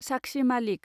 साक्षी मालिक